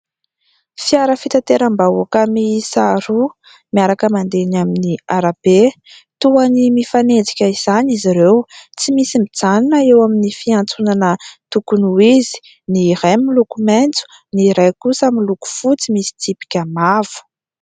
Fiara fitanteram-bahoaka mihisa roa miaraka mandeha eny amin'ny arabe, toy ny mifanenjika izany izy ireo, tsy misy mijanona eo amin'ny fiantsonana tokony ho izy. Ny iray miloko maitso, ny iray kosa miloko fotsy misy tsipika mavo.